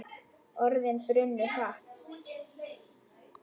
Orðin brunnu hratt.